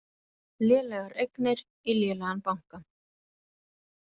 Lélegar eignir í lélegan banka